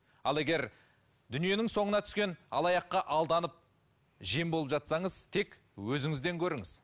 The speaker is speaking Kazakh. ал егер дүниенің соңына түскен алаяққа алданып жем болып жатсаңыз тек өзіңізден көріңіз